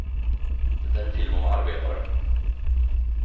Det är en film om arbetare.